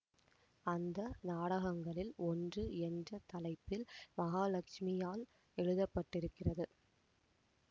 அந்த நாடகங்களில் ஒன்று என்ற தலைப்பில் மகாலட்சுமியால் எழுதப்பட்டிருக்கிறது